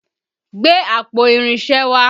Gbé àpò irinṣẹ́ wá!